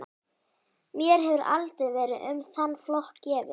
Mér hefur aldrei verið um þann flokk gefið.